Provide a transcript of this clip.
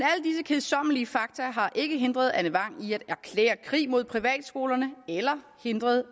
kedsommelige fakta har ikke hindret anne vang i at erklære krig mod privatskolerne eller hindret